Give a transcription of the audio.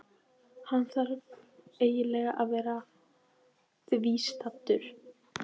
Hann þarf eiginlega að vera viðstaddur.